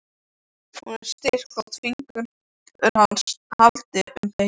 Hún er styrk þótt fingur hans haldi um beinin.